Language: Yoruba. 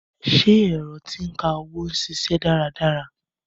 Ṣé ẹ̀rọ tí ń ka owó ń ṣiṣẹ́ dára dára?